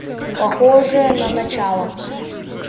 похоже на начало